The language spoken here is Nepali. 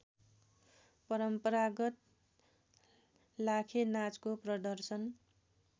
परम्परागत लाखेनाचको प्रदर्शन